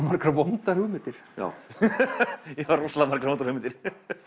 margar vondar hugmyndir já ég fæ rosalega margar vondar hugmyndir